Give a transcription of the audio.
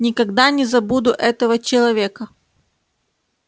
никогда не забуду этого человека